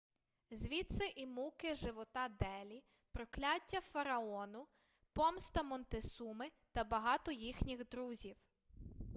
звідси і муки живота делі прокляття фараону помста монтесуми та багато їхніх друзів